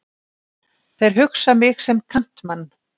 Þeir hugsa mig sem kantmann.